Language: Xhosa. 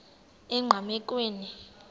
enqgamakhwe